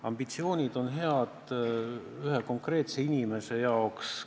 Ambitsioonid on head ühe konkreetse inimese jaoks.